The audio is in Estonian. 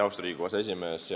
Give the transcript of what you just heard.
Austatud Riigikogu aseesimees!